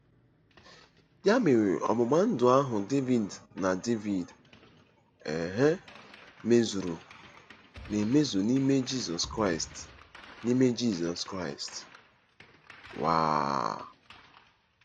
Ya mere ọgbụgba ndụ ahụ Devid na Devid um mezuru na-emezu n’ime Jizọs Kraịst n’ime Jizọs Kraịst um.